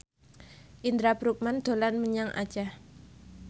Indra Bruggman dolan menyang Aceh